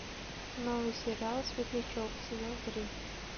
новый сериал светлячок сезон три